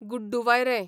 गुड्डूवायरें